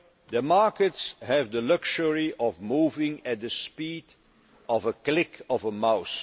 too late. The markets have the luxury of moving at the speed of a click